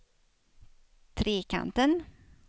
Trekanten